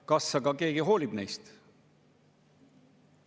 Kas aga keegi hoolib neist?